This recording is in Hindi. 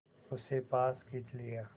उसे पास खींच लिया